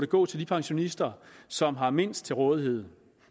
gå til de pensionister som har mindst til rådighed